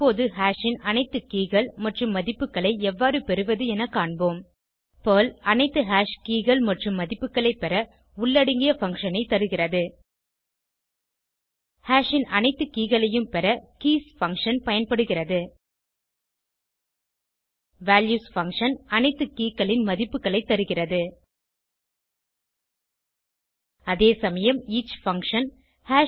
இப்போது ஹாஷ் ன் அனைத்து keyகள் மற்றும் மதிப்புகளை எவ்வாறு பெறுவது என காண்போம் பெர்ல் அனைத்து ஹாஷ் keyகள் மற்றும் மதிப்புகளை பெற உள்ளடங்கிய பங்ஷன் ஐ தருகிறது ஹாஷ் ன் அனைத்து keyகளையும் பெற கீஸ் பங்ஷன் பயன்படுகிறது வால்யூஸ் பங்ஷன் அனைத்து கே களின் மதிப்புகளை தருகிறது அதேசமயம் ஈச் பங்ஷன்